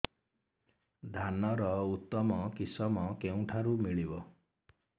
ଧାନର ଉତ୍ତମ କିଶମ କେଉଁଠାରୁ ମିଳିବ